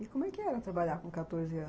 E como era trabalhar com quatorze anos?